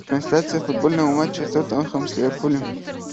трансляция футбольного матча тоттенхэм с ливерпулем